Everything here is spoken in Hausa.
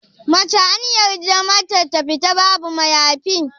Mace anyarda mata ta fita babu mayafi?